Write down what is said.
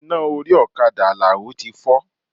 Iná orí ọ̀kadà Alao ti fọ́.